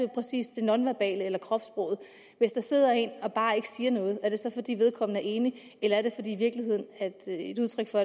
præcis det nonverbale eller kropssproget hvis der sidder en og bare ikke siger noget er det så fordi vedkommende er enig eller er det i virkeligheden et udtryk for